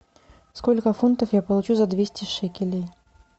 сколько фунтов я получу за двести шекелей